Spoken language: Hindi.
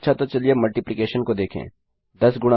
अच्छा तो चलिए अब मल्टीप्लिकेशन गुणा को देखें